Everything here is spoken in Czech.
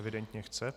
Evidentně chce.